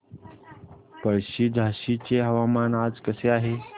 पळशी झाशीचे हवामान आज कसे आहे